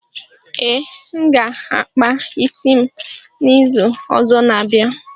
Ee, m ga akpa isi m n'izu ọzọ n'abia